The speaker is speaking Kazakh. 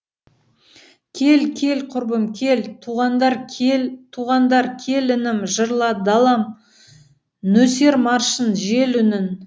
кел кел кұрбым кел туғандар кел інім жырла далам нөсер маршын жел үнін